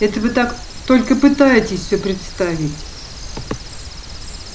это вы так только пытаетесь все представить